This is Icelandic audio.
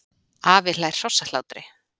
Afi hlær hrossahlátri.